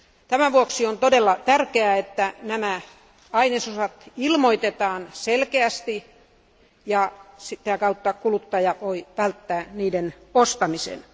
Tämän vuoksi on todella tärkeää, että nämä ainesosat ilmoitetaan selkeästi ja sitä kautta kuluttaja voi välttää niiden ostamisen.